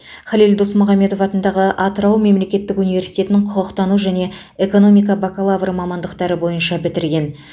халел досмұхамедов атындағы атырау мемлекеттік университетін құқықтану және экономика бакалавры мамандықтары бойынша бітірген